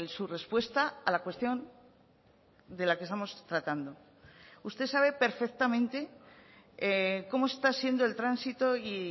su respuesta a la cuestión de la que estamos tratando usted sabe perfectamente cómo está siendo el tránsito y